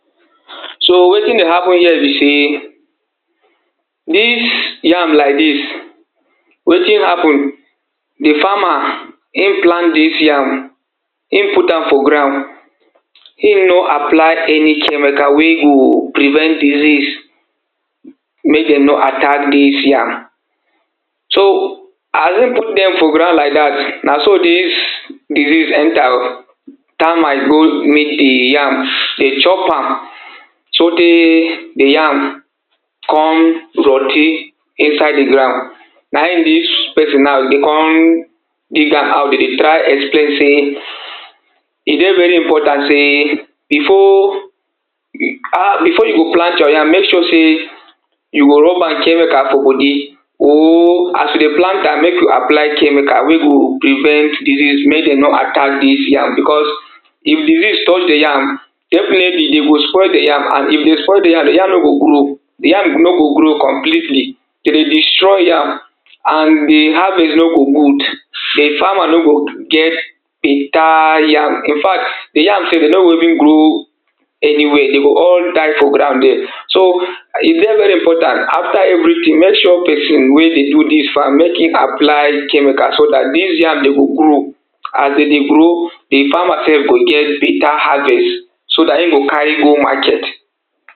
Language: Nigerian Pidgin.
So wetin dey happen here be sey dis yam like dis, wetin happen di farmer im plant dis yam, im put am for ground im no apply any chemical wey go prevent disease make dem no attack dis yam so as im put dem for ground like dat na so dis disease enter oh, termite go meet di yam dey chop am sotey di yam kon rot ten inside di ground naim dis pesin now dey kon dig am out dey dey try explain sey e dey very important sey before, before you plant your yam make sure sey you rub am chemical for body or as you dey plant am make you apply chemical wey go prevent disease make dem no attack dis yam becos if disease touch di yam definitely dem go spoil di yam and if dem spoil di yam di yam no go grow di yam no go grow completely, dey dey destroy yam and di havest no go gud di farmer no go get better yam infact di yam sef dey no go even grow anyway dey go all die for ground dere. So e dey very important make sure pesin wey dey do dis farm make im apply chemical so dat dis yam dem go grow as dey dey grow di farmer sef go get better harvest so dat im go carry go market.